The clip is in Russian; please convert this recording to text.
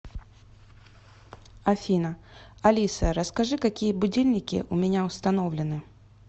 афина алиса расскажи какие будильники у меня установлены